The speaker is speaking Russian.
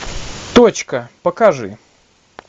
точка покажи